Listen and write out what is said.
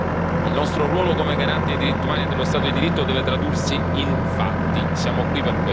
Il nostro ruolo come garante dei diritti umani e dello Stato di diritto deve tradursi in fatti, siamo qui per questo.